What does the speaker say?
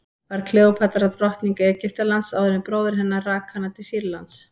var kleópatra drottning egyptalands áður en bróðir hennar rak hana til sýrlands